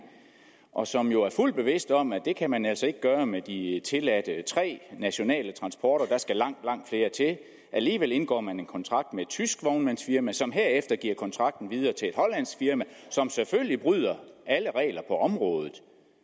og som jo er fuldt bevidst om at det kan man altså ikke gøre med de tilladte tre nationale transporter skal langt langt flere til alligevel indgår man en kontrakt med et tysk vognmandsfirma som herefter giver kontrakten videre til et hollandsk firma som selvfølgelig bryder alle regler på området